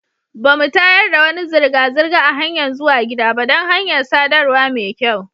Ba mu tayar da wani zirga-zirga a hanyan zuwa gida ba dan hanyar sadarwa mai kyau.